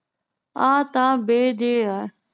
ਆ ਤਾਂ ਬੇ ਜੇ ਆ